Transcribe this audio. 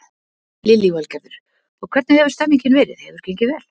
Lillý Valgerður: Og hvernig hefur stemningin verið, hefur gengið vel?